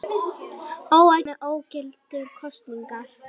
Óánægja með ógildingu kosningar